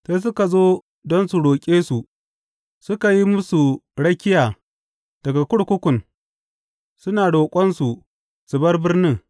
Sai suka zo don su roƙe su, suka yi musu rakiya daga kurkukun, suna roƙonsu su bar birnin.